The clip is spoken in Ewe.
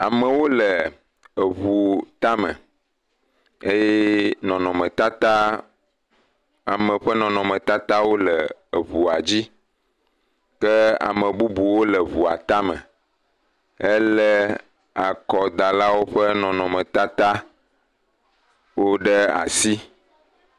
Ame aɖewo le eʋu ta me eye nɔnɔme tata, ame ƒe nɔnɔme tata le eʋua dzi ke ame bubuwo hã le eʋua tame hele akɔdalawo ƒe nɔnɔmewo ɖe asi